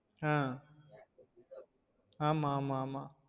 ஆஹ் ஆமா ஆமா ஆமா